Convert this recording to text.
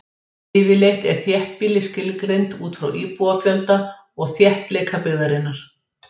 Yfirleitt er þéttbýli skilgreint út frá íbúafjölda og þéttleika byggðarinnar.